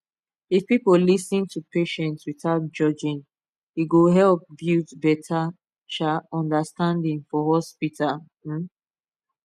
if people lis ten to patients without judging e go help build better um understanding for hospital um